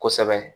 Kosɛbɛ